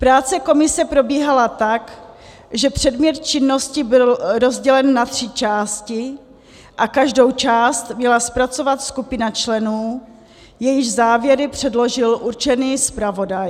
Práce komise probíhala tak, že předmět činnosti byl rozdělen na tři části a každou část měla zpracovat skupina členů, jejichž závěry předložil určený zpravodaj.